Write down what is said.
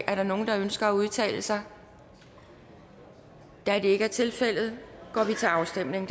er der nogen der ønsker at udtale sig da det ikke er tilfældet går vi til afstemning